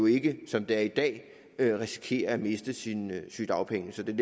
ikke som det er i dag risikere at miste sine sygedagpenge det